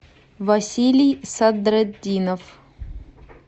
василий садретдинов